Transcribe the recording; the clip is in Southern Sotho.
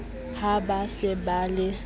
ha ba se ba le